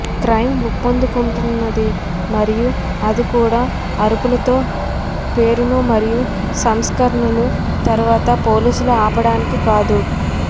crime ఊపందుకుంటున్నది మరియు అది కూడా అరుపులతో పేరును మరియు సంస్కరణలు తరువాత పోలీసులు ఆపడానికి కాదు